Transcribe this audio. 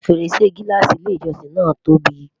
fèrèsé gilaasi ilé ìjósìn na tóbi